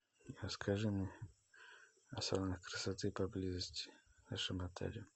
расскажи мне о салонах красоты поблизости в нашем отеле